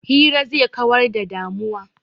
Hira zai kawar da damuwa.